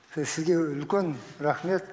сізге үлкен рахмет